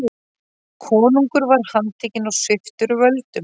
Konungur var handtekinn og sviptur völdum.